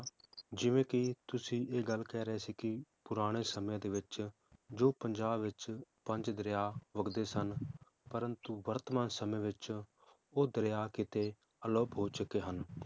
ਜਿਵੇ ਕੀ ਤੁਸੀਂ ਇਹ ਗੱਲ ਕਹਿ ਰਹੇ ਸੀ ਕੀ ਪੁਰਾਣੇ ਸਮੇ ਦੇ ਵਿਚ, ਜੋ ਪੰਜਾਬ ਵਿਚ ਪੰਜ ਦਰਿਆ ਵਗਦੇ ਸਨ, ਪ੍ਰੰਤੂ ਵਰਤਮਾਨ ਸਮੇ ਵਿਚ ਉਹ ਦਰਿਆ ਕਿਤੇ ਅਲੋਪ ਹੋ ਚੁਕੇ ਹਨ